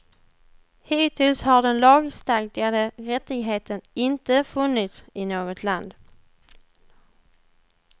Hittills har den lagstadgade rättigheten intefunnits i något land.